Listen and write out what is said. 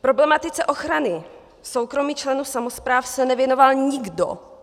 Problematice ochrany soukromí členů samospráv se nevěnoval nikdo.